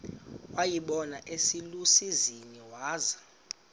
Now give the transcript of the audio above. wayibona iselusizini waza